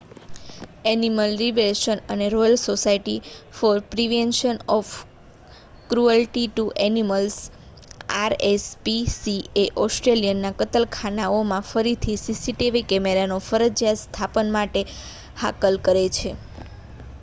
animal Liberation અને Royal Society for Prevention of Cruelty to Animals rspca Australian કતલખાનાઓમાં ફરીથી CCTV કેમેરાના ફરજિયાત સ્થાપન માટે હાકલ કરે છે